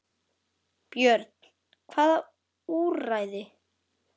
Björn: Hvaða úrræði?